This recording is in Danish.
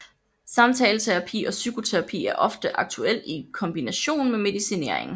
Samtaleterapi og psykoterapi er ofte aktuelt i kombination med medicinering